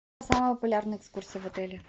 самые популярные экскурсии в отеле